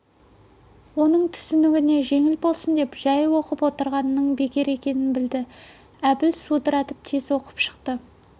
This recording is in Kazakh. оның түсінігіне жеңіл болсын деп жай оқып отырғанының бекер екенін білді де әбіл судыратып тез оқып шықты